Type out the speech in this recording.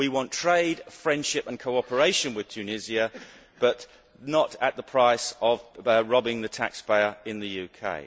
We want trade, friendship and cooperation with Tunisia but not at the price of robbing the taxpayer in the UK.